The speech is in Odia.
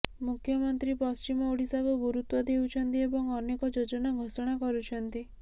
ମୁଖ୍ୟମନ୍ତ୍ରୀ ପଶ୍ଚିମ ଓଡିଶାକୁ ଗୁରୁତ୍ୱ ଦେଉଛନ୍ତି ଏବଂ ଅନେକ ଯୋଜନା ଘୋଷଣା କରୁଛନ୍ତି